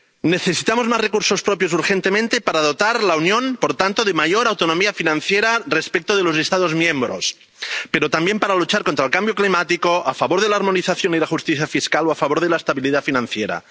Necesitamos más recursos propios urgentemente para dotar a la Unión, por tanto, de mayor autonomía financiera respecto de los Estados miembros, pero también para luchar contra el cambio climático, a favor de la armonización y la justicia fiscal o a favor de la estabilidad financiera.